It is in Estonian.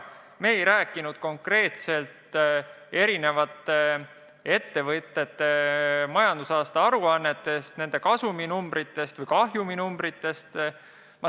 Me ei rääkinud konkreetselt eri ettevõtjate majandusaasta aruannetest, nende kasuminumbritest või kahjuminumbritest.